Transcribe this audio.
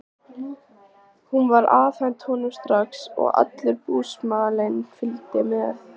Hún var afhent honum strax og allur búsmalinn fylgdi með.